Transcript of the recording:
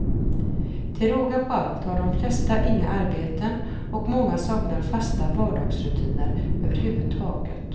Till råga på allt har de flesta inga arbeten och många saknar fasta vardagsrutiner överhuvdtaget.